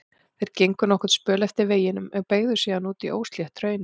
Þeir gengu nokkurn spöl eftir veginum en beygðu síðan út í óslétt hraunið.